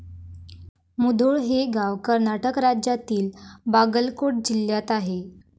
मुधोळ हे गाव कर्नाटक राज्यातील बागलकोट जिल्ह्यात आहे.